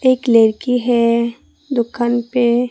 एक लड़की है दुकान पे।